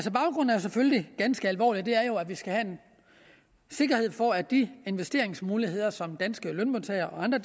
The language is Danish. selvfølgelig ganske alvorlig og den er jo at vi skal have en sikkerhed for at de investeringsmuligheder som danske lønmodtagere og andre